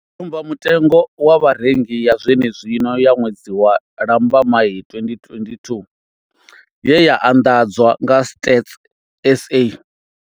Tsumbamutengo wa vharengi ya zwenezwino ya ṅwedzi wa Lambamai 2022 ye ya anḓadzwa nga Stats SA.